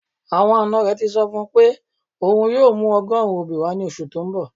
Awọn ańa rẹ sọ fun pe ọun yoo mù ọgọ̀run obi wa ni oṣù tó n bọ̀